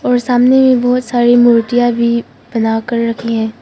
और सामने में बहोत सारी मूर्तियां भी बना कर रखी हैं।